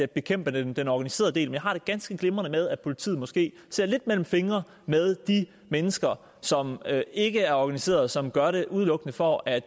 bekæmpe den den organiserede del men jeg har det ganske glimrende med at politiet måske ser lidt gennem fingre med de mennesker som ikke er organiseret og som gør det udelukkende for at